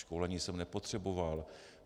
Školení jsem nepotřeboval.